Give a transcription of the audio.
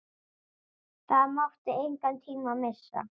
Það mátti engan tíma missa.